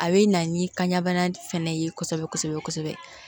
A bɛ na ni kanɲana fɛnɛ ye kosɛbɛ kosɛbɛ kosɛbɛ